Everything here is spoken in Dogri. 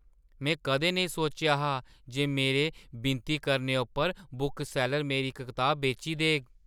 में कदें नेईं सोचेआ हा जे मेरे विनती करने उप्पर बुकसैल्लर मेरी इक किताब बेची देग!